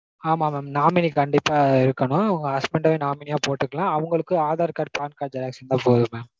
ஆமா mam nominee கண்டிப்பா இருக்கனும். உங்க husband யே nominee யா போட்டுக்கலாம். அவங்களுக்கு aadhar card PAN card xerox இருந்தா போதும் mam